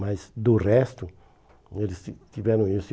Mas do resto, eles ti tiveram isso.